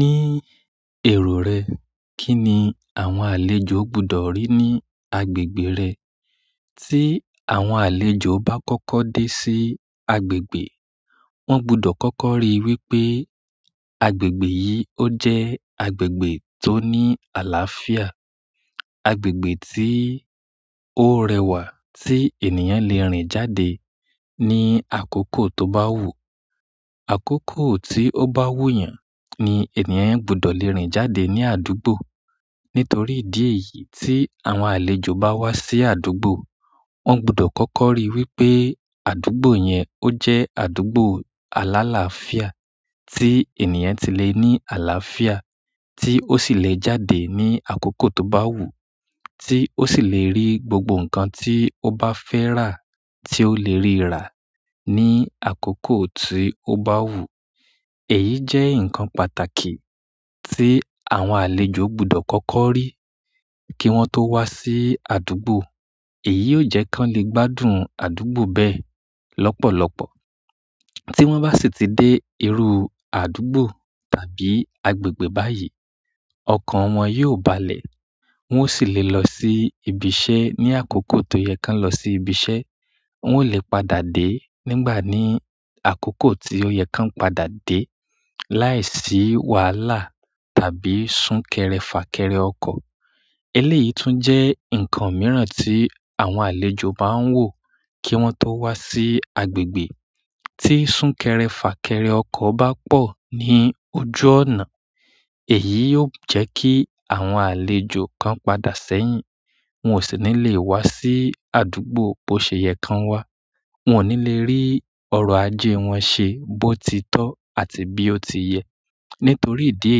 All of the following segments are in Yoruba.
Ní èrò rẹ, kí ni àwọn àlejò gbọdọ̀ rí ní agbègbè rẹ? Tí àwọn àlejò bá kọ́kọ́ dé sí agbègbè, wọ́n gbọdọ̀ kọ́kọ́ ríi wípé agbègbè yìí ó jẹ́ agbègbè tó ní àlàáfíà. Agbègbè tí ó rẹwà tí ènìyàn lè rìn jáde ní àkókò tó bá wù ú. Àkókò tí ó bá wù yàn ni ènìyàn gbọdọ̀ lè rìn jáde ní àdúgbò. Nítorí ìdí èyí tí àwọn àlejò bá wá sí àdúgbò, wọ́n gbọdọ̀ kọ́kọ́ ríi wípé àdúgbò yẹn ó jẹ́ àdúgbò aláláàfíà tí ènìyàn ti lè ní àlàáfíà, tí ó sì le è jáde ní àkókò tó bá wù ú, tí ó sì le rí gbogbo nǹkan tí ó bá fẹ́ rà tí ó lè rí rà ní àkókò tí ó bá wù ú. Èyí jẹ́ nǹkan pàtàkì tí àwọn àlejò gbọdọ̀ kọ́kọ́ rí kí wọ́n tó wá sí àdúgbò. Èyí ó jẹ́ kí wọ́n lè gbádùn àdúgbò bẹ́ẹ̀ lọ́pọ̀lọpọ̀. Tí wọ́n bá sì ti dé irú àdúgbò tàbí agbègbè báyìí, ọkọ̀ wọn yóò balẹ̀, wọ́n ó sì le è lọ sí ibi iṣẹ́ ní àkókò tó yẹ kí wọ́n lọ sí ibi iṣẹ́, wọ́n ó lè padà dé nígbà ní àkókò tí ó yẹ kí wọ́n padà dé láìsí wàhálà tàbí sún kẹrẹ fà kẹrẹ ọkọ̀. Eléyìí tún jẹ́ nǹkan mìíràn tí àwọn àlejò máa ń wò kí wọ́n tó wá sí agbègbè. Tí sún kẹrẹ fà kẹrẹ ọkọ̀ bá pọ̀ ní ojú ọ̀nà, èyí yóò jẹ́ kí àwọn àlejò kan padà sẹ́yìn, wọn ò sì ní lè wá sí àdúgbò bó ṣe yẹ kí wọ́n wá, wọn ò ní lè rí ọrọ̀ ajé wọn ṣe bó ti tọ́ àti bí ó ti yẹ. Nítorí ìdí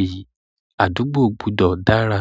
èyí, àdúgbò gbọdọ̀ dára.